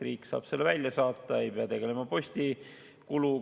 Riik saab teate välja saata, ei pea kandma postikulu.